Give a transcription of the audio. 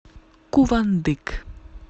кувандык